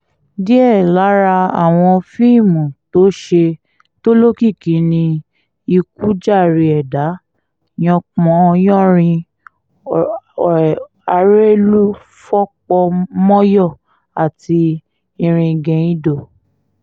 díẹ̀ lára àwọn fíìmù tó ṣe tó lókìkí ni ikú jàre ẹ̀dà yanpan yanrìn arẹ́lú fọpomọyọ àti iringeindo